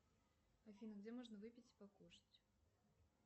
афина где можно выпить и покушать